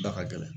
Da ka gɛlɛn